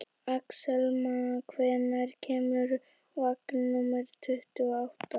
Axelma, hvenær kemur vagn númer tuttugu og átta?